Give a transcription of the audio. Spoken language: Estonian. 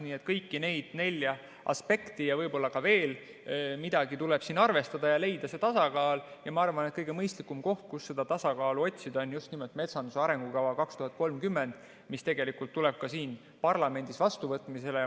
Nii et kõiki neid nelja aspekti ja võib-olla veel midagi tuleb siin arvestada ja leida see tasakaal, ja ma arvan, et kõige mõistlikum koht, kus seda tasakaalu otsida, on just nimelt metsanduse arengukava 2030, mis tuleb ka siin parlamendis vastuvõtmisele.